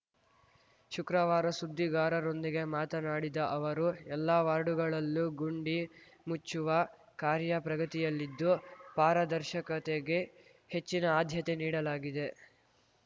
ಶುಕ್ರವಾರ ಸುದ್ದಿಗಾರರೊಂದಿಗೆ ಮಾತನಾಡಿದ ಅವರು ಎಲ್ಲಾ ವಾರ್ಡುಗಳಲ್ಲೂ ಗುಂಡಿ ಮುಚ್ಚುವ ಕಾರ‍್ಯ ಪ್ರಗತಿಯಲಿದ್ದು ಪಾರದರ್ಶಕತೆಗೆ ಹೆಚ್ಚಿನ ಆಧ್ಯತೆ ನೀಡಲಾಗಿದೆ